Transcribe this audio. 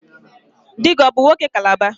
Di gi ọ bụ nwoke Calabar?